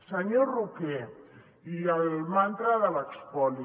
senyor roquer i el mantra de l’espoli